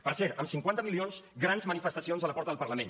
per cert amb cinquanta milions grans manifestacions a la porta del parlament